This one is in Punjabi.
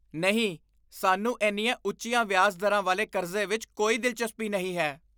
ਨਹੀਂ! ਸਾਨੂੰ ਇੰਨੀਆਂ ਉੱਚੀਆਂ ਵਿਆਜ ਦਰਾਂ ਵਾਲੇ ਕਰਜ਼ੇ ਵਿੱਚ ਕੋਈ ਦਿਲਚਸਪੀ ਨਹੀਂ ਹੈ।